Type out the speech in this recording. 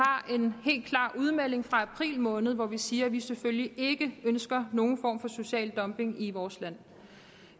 en helt klar udmelding fra april måned hvor vi siger at vi selvfølgelig ikke ønsker nogen form for social dumping i vores land